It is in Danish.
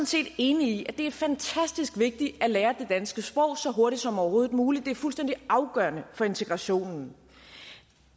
set enig i at det er fantastisk vigtigt at lære det danske sprog så hurtigt som overhovedet muligt det er fuldstændig afgørende for integrationen